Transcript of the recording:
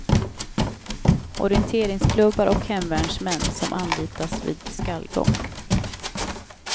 Orienteringsklubbar och hemvärnsmän som anlitas vid skallgång.